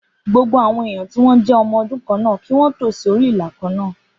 Gbogbo àwọn èèyàn tí o jé ọmọ ọdún kan náà kí wón tò sí orí ìlà kàn náà